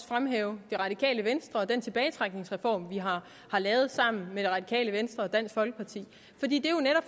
fremhæve det radikale venstre og den tilbagetrækningsreform vi har lavet sammen med det radikale venstre og dansk folkeparti